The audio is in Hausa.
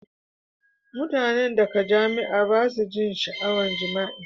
Mutanen da ka jima'i ba su jin sha'awan jima'i.